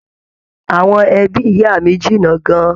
Àwọn ẹbí ìyá mí jìnnà gán-an.